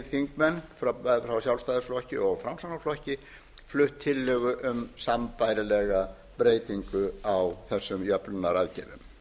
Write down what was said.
frá sjálfstæðisflokki og framsóknarflokki flutt tillögu um sambærilega breytingu á þessum jöfnunaraðgerðum